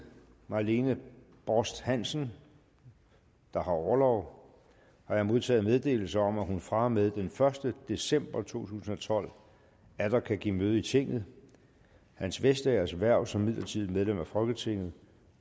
marlene borst hansen der har orlov har jeg modtaget meddelelse om at hun fra og med den første december to tusind og tolv atter kan give møde i tinget hans vestagers hverv som midlertidigt medlem af folketinget